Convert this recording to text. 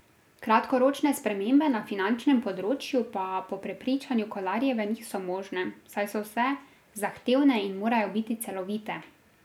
Kratkoročne spremembe na finančnem področju pa po prepričanju Kolarjeve niso možne, saj so vse zahtevne in morajo biti celovite.